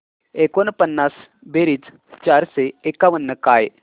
एकोणपन्नास बेरीज चारशे एकावन्न काय